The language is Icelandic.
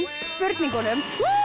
spurningunum